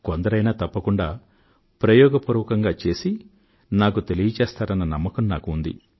కొందరైనా తప్పకుండా ప్రయోగపూర్వకంగా చేసి తెలియజేస్తారన్న నమ్మకం నాకు ఉంది